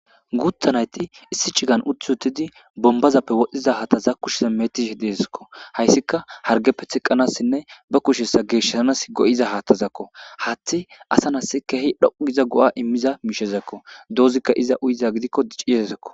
Guuttanayti issi cigan uthi utidi bombazappe wodhdhiza haattaza kushiza metishi deesakko hayssika hargeppe tiqqanassinne ba kushessa geeshsanas go7iza haattazakko hatthi asa nas kehi dhoquiza go7a immiza miishezakko doozikka iza uyiza gidikko ciirezakko.